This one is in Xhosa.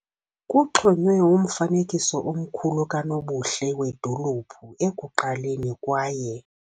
Kuxhonywe umfanekiso omkhulu kanobuhle wedolophu ekuqaleni kwaye.